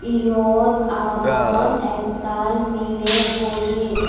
eote agon aktal milay boji.